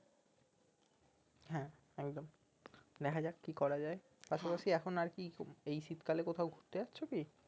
হ্যাঁ একদম দেখা যাক কি করা যাই এখন আরকি খু এই শীতকালে কোথাও ঘুরতে যাচ্ছ কি